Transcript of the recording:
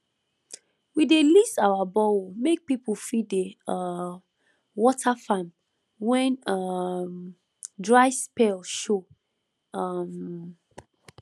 we dey lease our borehole make people fit dey um water farm when um dry spell show um